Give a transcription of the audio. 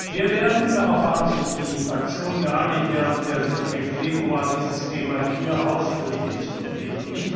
Wir werden darauf haben sich die Fraktionen geeinigt während der Sitzung im Februar dieses Thema hier ausführlich diskutieren.